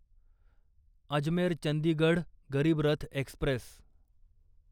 Ajmer Chandigarh Garib Rath Express